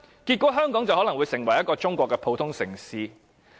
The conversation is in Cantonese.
結果是，香港可能會成為中國一個普通城市。